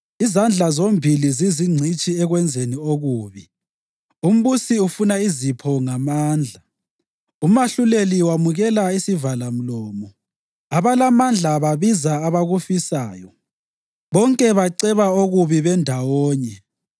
Izandla zombili zizingcitshi ekwenzeni okubi; umbusi ufuna izipho ngamandla, umahluleli wamukela isivalamlomo, abalamandla babiza abakufisayo, bonke baceba okubi bendawonye.